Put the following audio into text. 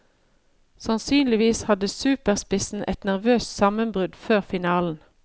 Sannsynligvis hadde superspissen et nervøst sammenbrudd før finalen.